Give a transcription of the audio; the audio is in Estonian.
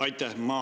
Aitäh!